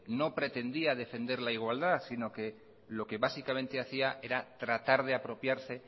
no pretendía defender la igualdad sino que lo que básicamente hacía era tratar de apropiarse